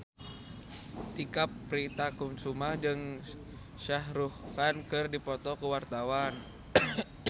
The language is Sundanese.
Tike Priatnakusuma jeung Shah Rukh Khan keur dipoto ku wartawan